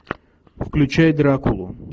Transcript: включай дракулу